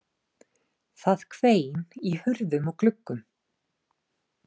Það hvein í hurðum og gluggum.